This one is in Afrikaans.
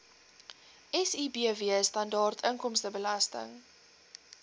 sibw standaard inkomstebelasting